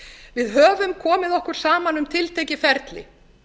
við höfum komið okkur saman um tiltekið ferli